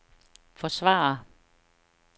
forsvare